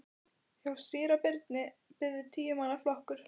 Hjá síra Birni beið tíu manna flokkur.